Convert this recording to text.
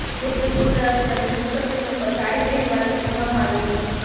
જેમ કે સ્કુલ તરફથી અમને શિક્ષક દિન ઉપર સાડી પહેરવાનું કહેવામાં આવ્યું હતું